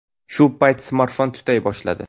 Shu payt smartfon tutay boshladi.